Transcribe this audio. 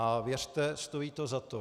A věřte, stojí to za to.